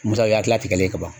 Misaliya tila tigɛlen ka ban